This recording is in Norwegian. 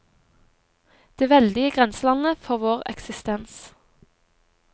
Det veldige grenselandet for vår eksistens.